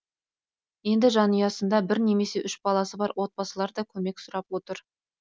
енді жанұясында бір немесе үш баласы бар отбасылар да көмек сұрап отыр